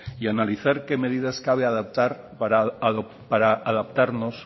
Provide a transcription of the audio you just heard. y analizar qué medidas